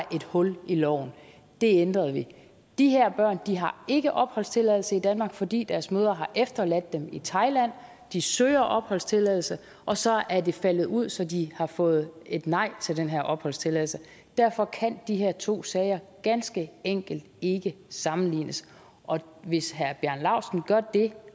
et hul i loven det ændrede vi de her børn har ikke opholdstilladelse i danmark fordi deres mødre har efterladt dem i thailand de søger opholdstilladelse og så er det faldet ud så de har fået et nej til den her opholdstilladelse derfor kan de her to sager ganske enkelt ikke sammenlignes og hvis herre bjarne laustsen